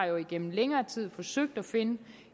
jo igennem længere tid har forsøgt at finde